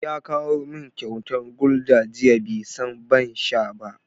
Ya kawo min kyauta Gulder jiya, bai san ban sha ba.